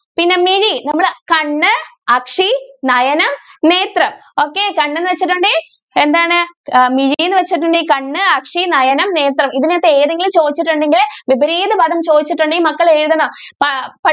പിന്നെ മിഴി നമ്മളെ കണ്ണ് അസി നയനം നേത്രം okay കണ്ണ് എന്ന് വെച്ചിട്ടുണ്ടെങ്കിൽ എന്താണ് മിഴി എന്ന് വച്ചിട്ടുണ്ടെങ്കിൽ കണ്ണ് അസി നയനം നേത്രം ഇതിനകത്ത് ഏതെങ്കിലും ചോദിച്ചിട്ടുണ്ടെങ്കിൽ വിപരീത പദം ചോദിച്ചിട്ടുണ്ടെങ്കിൽ മക്കൾ എഴുതണം